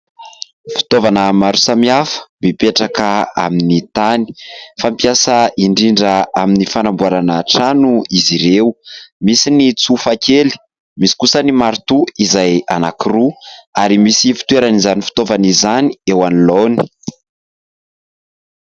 Fitaovana maro samihafa mipetraka amin'ny tany fampiasa indrindra amin'ny fanamboarana trano izy ireo ; misy ny tsofakely, misy kosa ny marotoa izay anankiroa ary misy fitoeran'izany fitaovana izany eo anoloany.